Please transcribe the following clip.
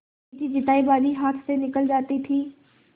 जीतीजितायी बाजी हाथ से निकली जाती थी